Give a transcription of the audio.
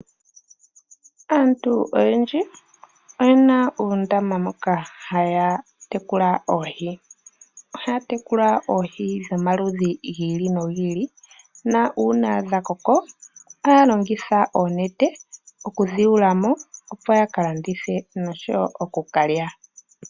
Aantu oyendji oye na uundama moka haya tekula oohi. Ohaya tekula oohi dhomaludhi gi ili nogi ili nuuna dha koko ohaya longitha oonete okudhi yula mo, opo ya ka landithe noshowo oku ka lya.